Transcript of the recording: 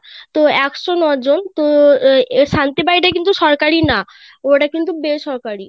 তো একশো ন জন তো এই শান্তি বাড়ি টা কিন্তু সরকারি না ওটা কিন্তু বেসরকারি .